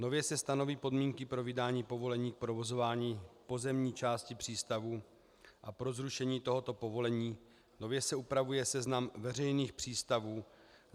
Nově se stanoví podmínky pro vydání povolení k provozování pozemní části přístavů a pro zrušení tohoto povolení, nově se upravuje seznam veřejných přístavů.